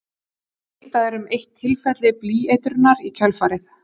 Vitað er um eitt tilfelli blýeitrunar í kjölfarið.